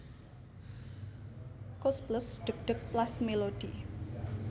Koes Plus Dheg dheg Plas Melody